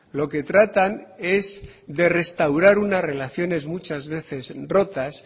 lo que tratan es de restaurar una relaciones muchas veces rotas